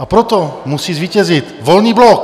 A proto musí zvítězit Volný blok!